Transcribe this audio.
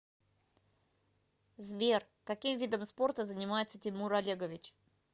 сбер каким видом спорта занимается тимур олегович